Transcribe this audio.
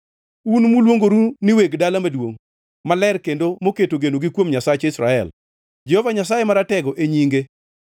un muluongoru ni weg dala maduongʼ maler kendo moketo genogi kuom Nyasach Israel, Jehova Nyasaye Maratego, e nyinge: